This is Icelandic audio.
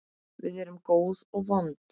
Við erum góð og vond.